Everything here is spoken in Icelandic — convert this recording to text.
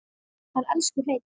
Hann elsku Hreinn.